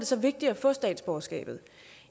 så vigtigt at få statsborgerskabet